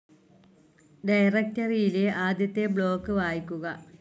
ഡയറക്ടറിയിലെ ആദ്യത്തെ ബ്ലോക്ക്‌ വായിക്കുക